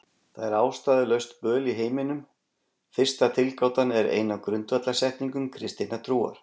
Það er ástæðulaust böl í heiminum. Fyrsta tilgátan er ein af grundvallarsetningum kristinnar trúar.